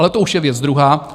Ale to už je věc druhá.